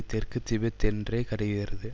தெற்கு திபெத் என்றே கருதுகிறது